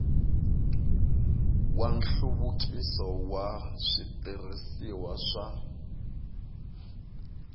wa nhluvukiso wa switirhisiwa swa